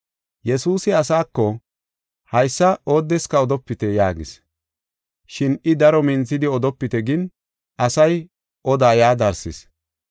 Yesuusi asaako, “Haysa oodeska odopite” yaagis. Shin I daro minthidi odopite gin, asay odaa yaa darsis.